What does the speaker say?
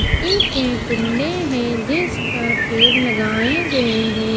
मिट्टी के कुंडे हैं जिस पर पेड़ लगाए गए हैं।